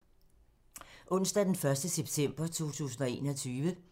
Onsdag d. 1. september 2021